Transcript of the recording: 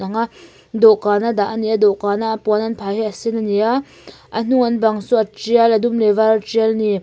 nga dawhkan a dah ania dawhkan a puan an phah hi a sen ania a hnunga an bang saw a tial a dum leh var a tial ani.